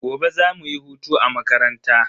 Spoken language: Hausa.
Gobe za mu yi hutu a makaranta.